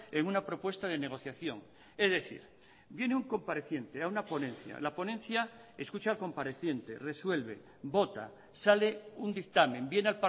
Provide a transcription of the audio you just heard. en una propuesta de negociación es decir viene un compareciente a una ponencia la ponencia escucha al compareciente resuelve vota sale un dictamen viene